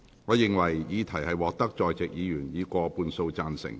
我認為議題獲得在席議員以過半數贊成。